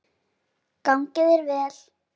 Gangi þér vel.